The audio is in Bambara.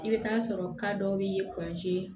I bɛ taa sɔrɔ dɔw bɛ